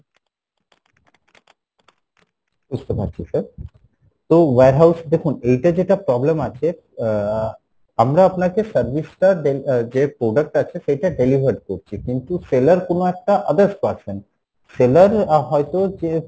বুঝতে পারছি sir, তো warehouse দেখুন এইটা যেটা problem আছে আহ আমরা আপনাকে service টা আহ delivery যে product আছে সেই product টা delivered করছি কিন্তু seller কোনো একটা others person seller হয়তো যে